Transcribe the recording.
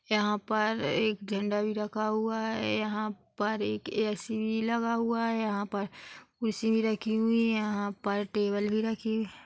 यहाँ पर एक झण्डा भी रखा हुआ है यहाँ पर एक ए. सी. भी लगा हुआ है यहाँ पर कुर्सी भी रखी हुई यहाँ पर टेबल भी रखी हुई है।